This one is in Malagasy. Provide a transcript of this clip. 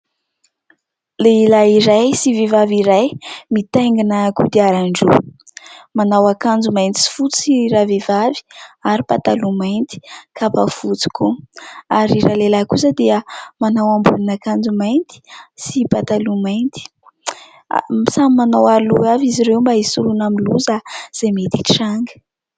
Lehilahy iray sy vehivavy iray mitaingina kodiaran-droa, manao ankanjo mainty sy fotsy ravehivavy ary mipataloha mainty, kapa fotsy koa ary ilay lehilahy kosa dia manao ambonina akanjo mainty sy pataloha mainty, samy manao aro-loha avy izy ireo mba hisoroana amin'ny loza izay mety hitranga.